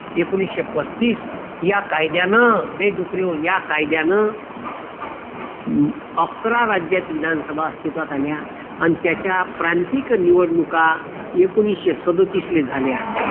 एकोणीशे पस्तीस या कायद्यानं ये डुकऱ्याहो या कायद्यानं अकरा राज्यात विधानसभा अस्तित्वात आल्या अन त्याच्या प्रांतिक निवडणूका एकोणीशे सदोतीसला झाल्या.